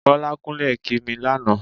Bọ́lá kúnlẹ̀ kí mi lánàá.